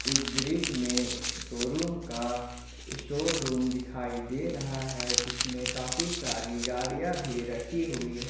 इस दृश्य में शोरूम का स्टोर रूम दिखाई दे रहा है जिसमें काफी सारी गाड़ियां भी रखी हुई है ।